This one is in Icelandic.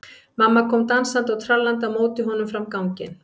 Mamma kom dansandi og trallandi á móti honum fram á ganginn.